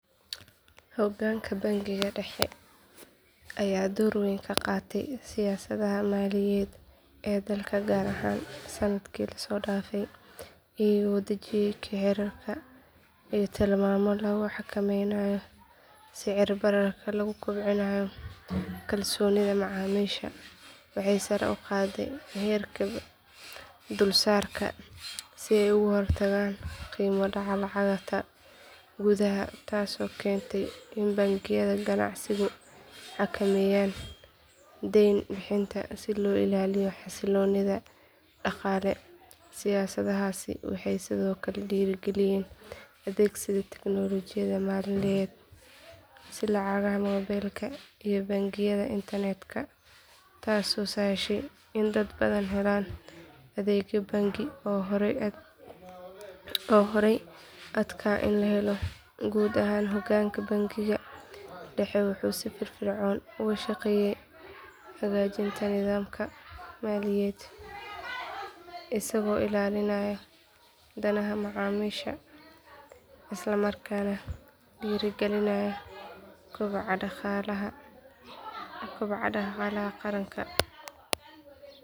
Hoggaanka bangiga dhexe ayaa door weyn ka qaatay siyaasadaha maaliyadeed ee dalka gaar ahaan sannadkii la soo dhaafay iyagoo dejiyay xeerar iyo tilmaamo lagu xakameynayo sicir bararka laguna kobcinayo kalsoonida macaamiisha waxay sare u qaadeen heerka dulsaarka si ay uga hortagaan qiimo dhaca lacagta gudaha taasoo keentay in bangiyada ganacsigu xakameeyaan deyn bixinta si loo ilaaliyo xasilloonida dhaqaale siyaasadahaasi waxay sidoo kale dhiirrigeliyeen adeegsiga tiknoolajiyadda maaliyadeed sida lacagaha mobilka iyo bangiyada internetka taasoo sahashay in dad badan helaan adeegyo bangi oo horay u adkaa in la helo guud ahaan hoggaanka bangiga dhexe wuxuu si firfircoon uga shaqeeyay hagaajinta nidaamka maaliyadeed isagoo ilaalinaya danaha macaamiisha isla markaana dhiirrigelinaya kobaca dhaqaalaha qaranka.